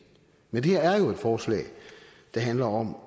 men det er jo et forslag der handler om